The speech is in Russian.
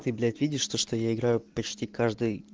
ты блять видишь то что я играю почти каждый